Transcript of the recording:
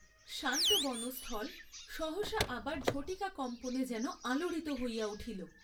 শান্ত বনস্থল সহসা আবার ঝটিকাকম্পনে যেন আলোড়িত হইয়া উঠিল।